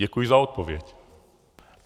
Děkuji za odpověď.